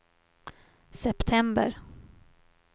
september